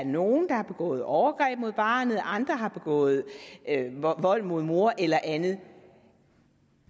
nogle har begået overgreb mod barnet eller hvor andre har begået vold mod moren eller andet